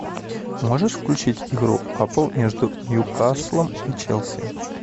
можешь включить игру апл между ньюкаслом и челси